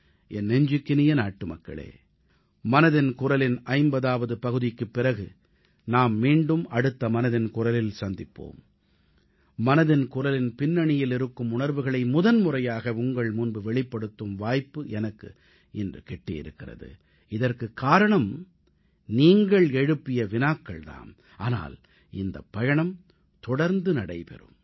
என் நெஞ்சுக்கினிய நாட்டுமக்களே மனதின் குரலின் 50ஆவது பகுதிக்குப் பிறகு நாம் மீண்டும் அடுத்த மனதின் குரலில் சந்திப்போம் மனதின் குரலின் பின்னணியில் இருக்கும் உணர்வுகளை முதன்முறையாக உங்கள் முன்பு வெளிப்படுத்தும் வாய்ப்பு எனக்கு இன்று கிட்டியிருக்கிறது இதற்குக் காரணம் நீங்கள் எழுப்பிய வினாக்கள் தாம் ஆனால் இந்தப் பயணம் தொடர்ந்து நடைபெறும்